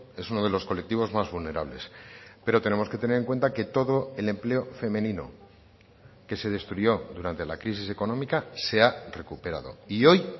es uno de los colectivos más vulnerables pero tenemos que tener en cuenta que todo el empleo femenino que se destruyó durante la crisis económica se ha recuperado y hoy